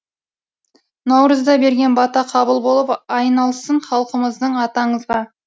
наурызда берген бата қабыл болып айналсын халқымыздың аты аңызға